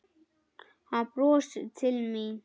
Hann brosir til mín.